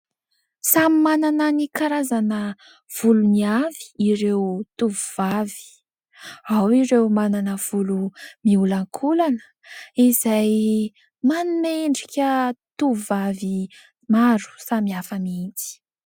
Samy manana ny karazana volony avy ireo tovovavy, ao ireo manana volo miolan-kolana izay manome endrika tovovavy maro samihafa mihitsy.